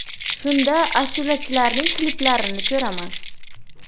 Shunda ashulachilarning kliplarini ko‘raman.